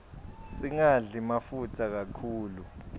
singadli mafutsa kakhulu